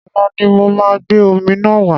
Ọ̀la ni mo máa gbé omi náà wá.